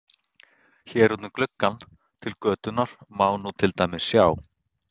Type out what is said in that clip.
Hér út um gluggann til götunnar má nú til dæmis sjá